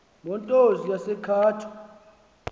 motors yase cato